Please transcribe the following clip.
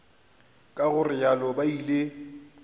ka go realo ba ile